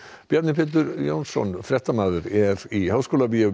Bjarni Pétur Jónsson fréttamaður er í Háskólabíói